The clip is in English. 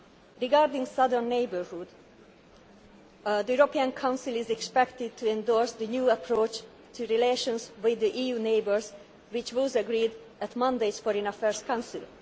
EU accession. Regarding the Southern Neighbourhood the European Council is expected to endorse the new approach to relations with the EU neighbours which was agreed at Monday's Foreign Affairs